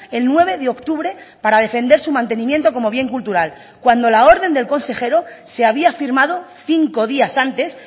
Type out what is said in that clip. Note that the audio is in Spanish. el nueve de octubre para defender su mantenimiento como bien cultural cuando la orden del consejero se había firmado cinco días antes